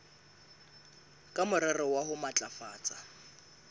ka morero wa ho matlafatsa